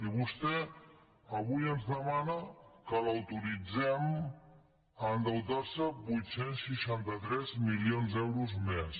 i vostè avui ens demana que l’autoritzem a endeutar se vuit cents i seixanta tres milions d’euros més